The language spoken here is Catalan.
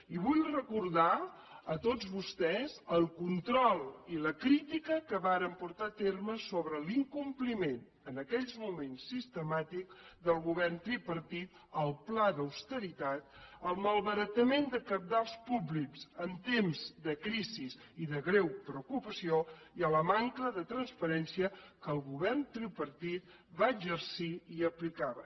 i vull recordar a tots vostès el control i la crítica que vàrem portar a terme sobre l’incompliment en aquells moments sistemàtic del govern tripartit al pla d’austeritat el malbaratament de cabals públics en temps de crisis i de greu preocupació i a la manca de transparència que el govern tripartit va exercir i aplicava